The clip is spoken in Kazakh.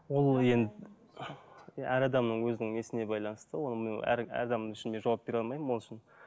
ол енді иә әр адамның өзінің несіне байланысты оның мен әр адам үшін де жауап бере алмаймын ол үшін